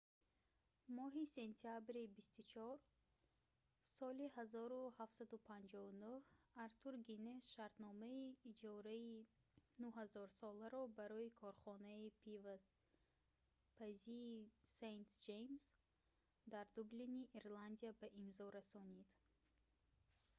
моҳи сентябри 24 соли 1759 артур гиннес шартномаи иҷораи 9000 соларо барои корхонаи пивопазии st james дар дублини ирландия ба имзо расонид